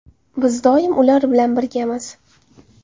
Biz doim ular bilan birgamiz.